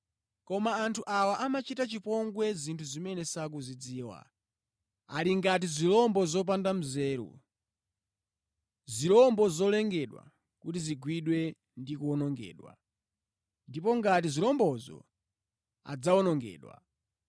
Koma anthu awa amachita chipongwe zinthu zimene sakuzidziwa. Ali ngati zirombo zopanda nzeru. Zirombo zolengedwa kuti zigwidwe ndi kuwonongedwa, ndipo ngati zirombozo adzawonongedwa.